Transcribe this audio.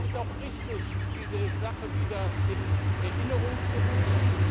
Es ist auch richtig, diese Sache wieder in Erinnerung zu rufen.